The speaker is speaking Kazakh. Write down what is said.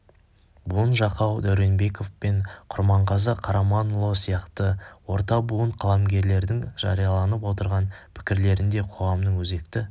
буын жақау дәуренбеков пен құрманғазы қараманұлы сияқты орта буын қаламгерлердің жарияланып отырған пікірлерінде қоғамның өзекті